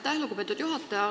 Aitäh, lugupeetud juhataja!